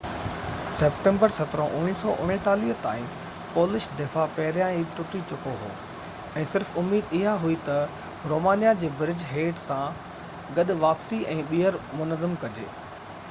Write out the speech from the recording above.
September 17 1939 تائين Polish دفاع پهريان ئي ٽٽي چڪو هو ۽ صرف اميد اها هئي ته رومانيا جي برج هيڊ سان گڏ واپسي ۽ ٻيهر منظم ڪجي